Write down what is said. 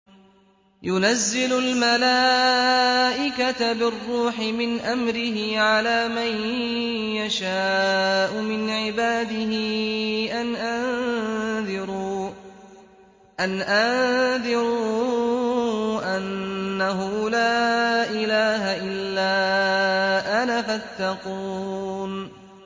يُنَزِّلُ الْمَلَائِكَةَ بِالرُّوحِ مِنْ أَمْرِهِ عَلَىٰ مَن يَشَاءُ مِنْ عِبَادِهِ أَنْ أَنذِرُوا أَنَّهُ لَا إِلَٰهَ إِلَّا أَنَا فَاتَّقُونِ